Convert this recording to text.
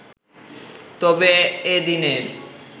তবে এদিনের